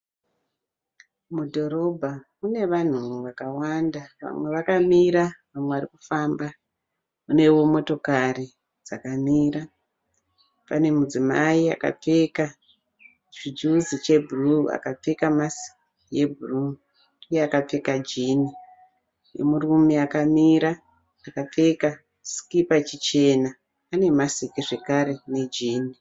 Mudhorobha, mune vanhu vakawanda. Vamwe vakamira, vamwe vari kufamba. Munewo motokari dzakamira. Pane mudzimai akapfeka chijuzi chebhuruwu akapfeka masiki yebhuruwu iye akapfeka jini, nemurume akamira akapfeka sikipa chichena ane masiki zvekare nejini.